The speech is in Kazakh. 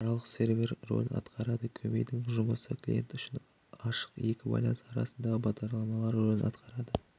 аралық сервер ролін атқарады көмейдің жұмысы клиент үшін ашық екі байланыс арасындағы бағдарлама ролін атқарады